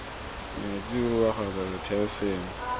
metsi wua kgotsa setheo sengwe